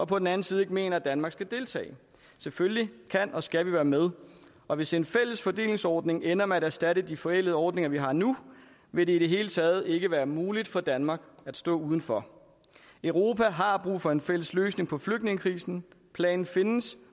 på den anden side ikke mener at danmark skal deltage selvfølgelig kan og skal vi være med og hvis en fælles fordelingsordning ender med at erstatte de forældede ordninger vi har nu vil det i det hele taget ikke være muligt for danmark at stå uden for europa har brug for en fælles løsning på flygtningekrisen planen findes